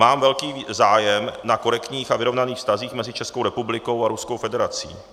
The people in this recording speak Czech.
Mám velký zájem na korektních a vyrovnaných vztazích mezi Českou republikou a Ruskou federací.